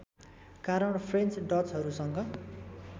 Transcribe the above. कारण फ्रेन्च डचहरूसँग